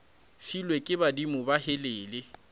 filwe ke badimo be helele